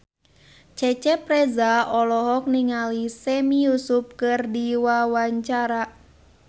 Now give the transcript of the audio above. Cecep Reza olohok ningali Sami Yusuf keur diwawancara